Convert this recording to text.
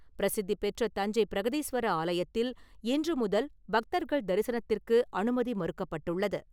பிரசித்திபெற்ற தஞ்சை பிரகதீஸ்வரர் ஆலயத்தில் இன்று முதல் பக்தர்கள் தரிசனத்திற்கு அனுமதி மறுக்கப்பட்டுள்ளது.